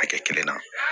Hakɛ kelen na